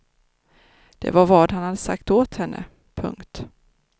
Det var vad han sagt åt henne. punkt